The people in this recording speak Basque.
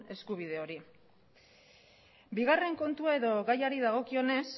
eskubide hori bigarren kontua edo gaiari dagokionez